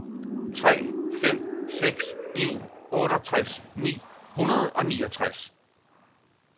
tre fem seks en otteogtres ni hundrede og niogtres